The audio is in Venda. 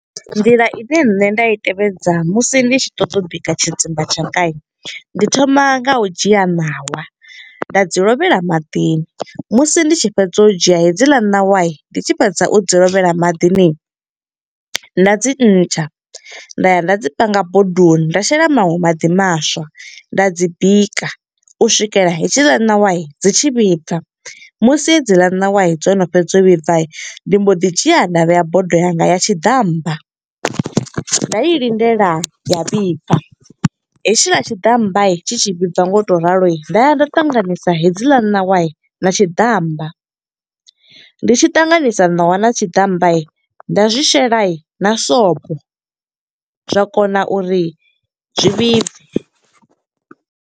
Nḓila ine nṋe nda i tevhedza musi ndi tshi ṱoḓa u bika tshidzimba tshanga. Ndi thoma nga u dzhia ṋawa, nda dzi lovhea maḓini, musi ndi tshi fhedza u dzhia hedziḽa ṋawa, ndi tshi fhedza u dzi lovhea maḓini. Nda dzi ntsha, nda ya nda dzi panga bodoni, nda shela maṅwe maḓi maswa, nda dzi bika. U swikela hedziḽa ṋawa dzi tshi vhibva, musi hedzila ṋawa dzo no fhedza u vhibva. Nda mbo ḓi dzhia nda vhea bodo yanga ya tshiḓammba, nda i lindela ya vhibva hetshiḽa tshiḓammba, tshi tshi vhibva nga u to ralo. Nda ya nda ṱanganisa hedziḽa ṋawa na tshiḓammba. Ndi tshi ṱanganisa ṋawa na tshiḓammba, nda zwi shela na sobo, zwa kona uri zwi vhibve.